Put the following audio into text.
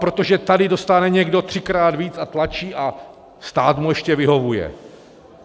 - Protože tady dostane někdo třikrát víc a tlačí a stát mu ještě vyhovuje.